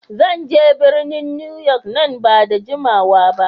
Zan je birnin Newyork nan ba da jimawa ba.